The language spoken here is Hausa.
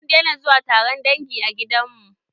Mun daina zuwa taron dangi a gidanmu.